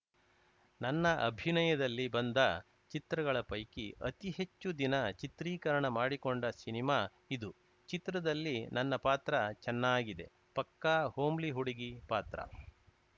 ನನ್ನ ಅಭಿನಯದಲ್ಲಿ ಬಂದ ಚಿತ್ರಗಳ ಪೈಕಿ ಅತಿ ಹೆಚ್ಚು ದಿನ ಚಿತ್ರೀಕರಣ ಮಾಡಿಕೊಂಡ ಸಿನಿಮಾ ಇದು ಚಿತ್ರದಲ್ಲಿ ನನ್ನ ಪಾತ್ರ ಚೆನ್ನಾಗಿದೆ ಪಕ್ಕಾ ಹೋಮ್ಲಿ ಹುಡುಗಿ ಪಾತ್ರ